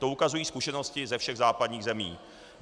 To ukazují zkušenosti ze všech západních zemí.